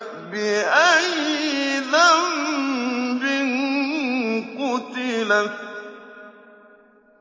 بِأَيِّ ذَنبٍ قُتِلَتْ